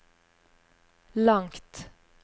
langt